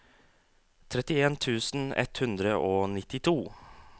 trettien tusen ett hundre og nittito